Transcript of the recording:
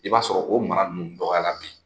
I b'a sɔrɔ o mara nunnu dɔgɔya la bi.